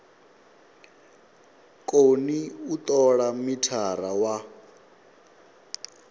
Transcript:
koni u tola mithara wa